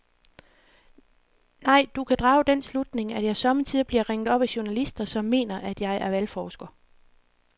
Nej, du kan drage den slutning, at jeg sommetider bliver ringet op af journalister, som mener, at jeg er valgforsker.